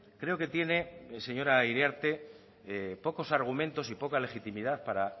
creo que tiene señora iriarte pocos argumentos y poca legitimidad para